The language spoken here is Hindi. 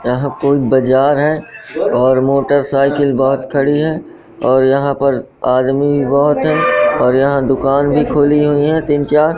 यहां कोई बाजार है और मोटरसाइकिल बहोत खड़ी है और यहां पर आदमी बहोत है और यहां दुकान भी खुली हुई है तीन चार--